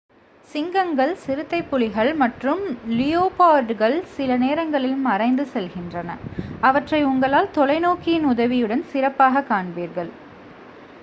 சிங்கங்கள் சிறுத்தைப்புலிகள் மற்றும் லியோபார்டுகள் சில நேரங்களில் மறைந்து செல்கின்றன அவற்றை உங்களால் தொலைநோக்கியின் உதவியுடன் சிறப்பாகக் காண்பீர்கள்